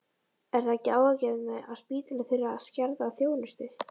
Er það ekki áhyggjuefni að spítalinn þurfi að skerða þjónustu?